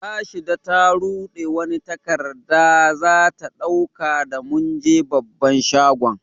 Rashida ta rude wani takada za ta dauka da mun je babban shagon.